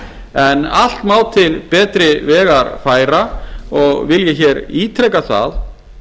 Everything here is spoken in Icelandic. en allt má til betri vegar færa og vil ég hér ítreka það